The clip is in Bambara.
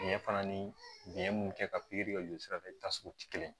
Ɲɛ fana ni biyɛn minnu kɛ ka pikiri ka jɔsira tasuma tɛ kelen ye